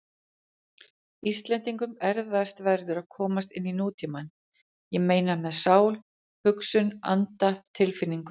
Íslendingum erfiðast verður að komast inní nútímann- ég meina með sál, hugsun, anda, tilfinningu.